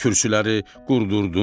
Kürsüləri qurdurtdum.